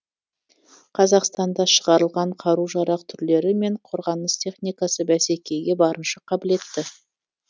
қазақстанда шығарылған қару жарақ түрлері мен қорғаныс техникасы бәсекеге барынша қабілетті